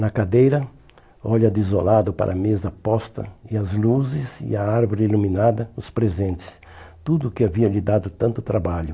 Na cadeira, olha desolado para a mesa posta e as luzes e a árvore iluminada, os presentes, tudo que havia lhe dado tanto trabalho.